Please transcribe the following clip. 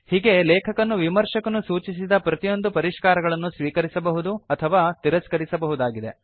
ಹೀಗೆ ಲೇಖಕನು ವಿಮರ್ಶಕನು ಸೂಚಿಸಿದ ಪ್ರತಿಯೊಂದು ಪರಿಷ್ಕಾರಗಳನ್ನು ಸ್ವೀಕರಿಸಬಹುದು ಅಥವಾ ತಿರಸ್ಕರಿಸಬಹುದಾಗಿದೆ